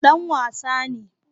Dan wasa ne